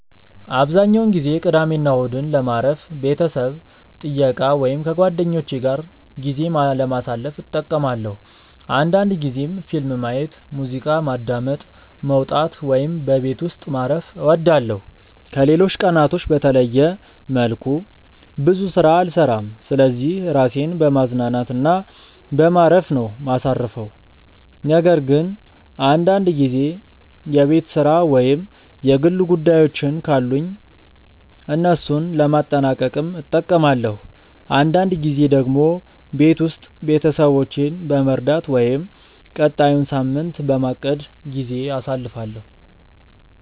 አብዛኛውን ጊዜ ቅዳሜና እሁድን ለማረፍ፣ ቤተሰብ ጥየቃ ወይም ከጓደኞቼ ጋር ጊዜ ለማሳለፍ እጠቀማለሁ አንዳንድ ጊዜም ፊልም ማየት፣ ሙዚቃ ማዳመጥ፣ መውጣት ወይም በቤት ውስጥ ማረፍ እወዳለሁ። ከሌሎች ቀናቶች በተለየ መልኩ ብዙ ስራ አልሰራም ስለዚህ ራሴን በማዝናናት እና በማረፍ ነው ማሳርፈው ነገር ግን አንዳንድ ጊዜ የቤት ስራ ወይም የግል ጉዳዮችን ካሉኝ እነሱን ለማጠናቀቅም እጠቀማለሁ። አንዳንድ ጊዜ ደግሞ ቤት ውስጥ ቤተሰቦቼን በመርዳት ወይም ቀጣዩን ሳምንት በማቀድ ጊዜ አሳልፋለሁ።